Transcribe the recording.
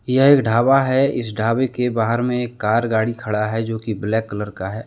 यह एक ढाबा है। इस ढाबा के बाहर में एक कार गाड़ी खड़ा हैजो की ब्लैक कलर का है।